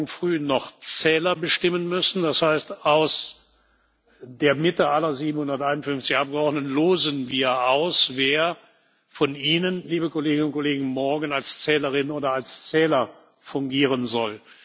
Wir werden morgen Früh noch Zähler bestimmen müssen. Das heißt, aus der Mitte aller 751 Abgeordneten losen wir aus, wer von Ihnen, liebe Kolleginnen und Kollegen, morgen als Zählerin oder als Zähler fungieren soll.